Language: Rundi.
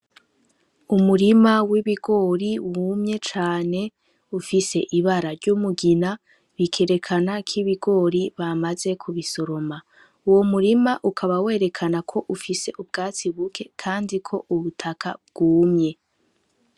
Umurima w'ibigori wumye cane ufise ibara ry'umugina bikerekana ko ibigori bamaze kubisoroma. Uwo murima ukaba werekana ko ufise ubwatsi buke kandi ko ubutaka bwumye.